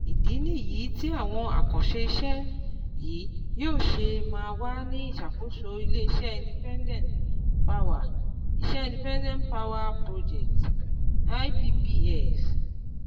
Ìdí nìyí tí àwọn àkànṣe iṣẹ́ yìí yóò ṣe máa wà ní ìsàkóso ilé iṣẹ́ independent power iṣẹ́ independent power projects (iPPs)